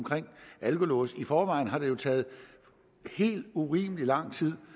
alkolåse i forvejen har det jo taget helt urimelig lang tid